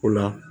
O la